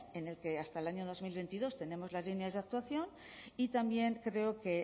en el que hasta el año dos mil veintidós tenemos las líneas de actuación y también creo que